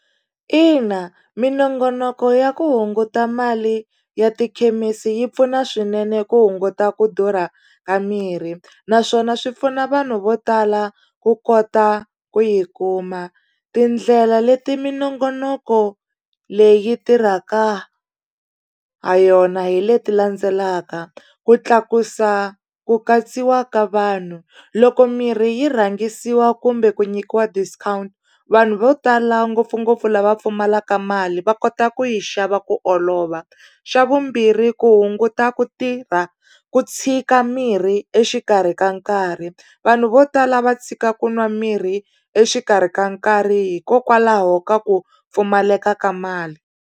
Ina minongonoko ya ku hunguta mali ya tikhemisi yi pfuna swinene ku hunguta ku durha ka mirhi naswona swi pfuna vanhu vo tala ku kota ku yi kuma tindlela leti minongonoko leyi tirhaka ha yona hi leti landzelaka ku tlakusa ku katsiwa ka vanhu loko mirhi yi rhangisiwa kumbe ku nyikiwa discount vanhu vo tala ngopfungopfu lava pfumalaka mali va kota ku yi xava ku olova xa vumbirhi ku hunguta ku tirha ku tshika mirhi exikarhi ka nkarhi vanhu vo tala va tshika ku nwa mirhi exikarhi ka nkarhi hikokwalaho ka ku pfumaleka ka mali.